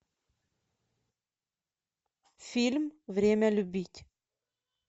фильм время любить